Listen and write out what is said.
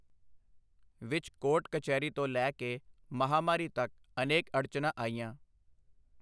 ਵਿੱਚ ਕੋਰਟ ਕਚਹਿਰੀ ਤੋਂ ਲੈ ਕੇ ਮਹਾਮਾਰੀ ਤੱਕ ਅਨੇਕ ਅੜਚਣਾਂ ਆਈਆਂ।